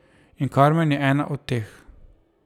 In Karmen je ena od teh.